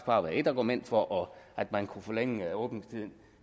bare være ét argument for at man kunne forlænge åbningstiden